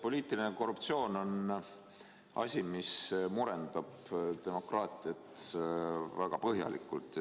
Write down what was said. Poliitiline korruptsioon on asi, mis murendab demokraatiat väga põhjalikult.